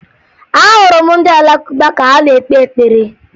Ahụrụ m ndị Alakụba ka ha na-ekpe ekpere